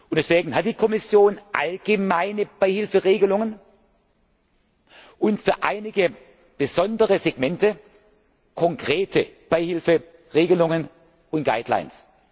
Deswegen hat die Kommission allgemeine Beihilferegelungen und für einige besondere Segmente konkrete Beihilferegelungen und Leitlinien.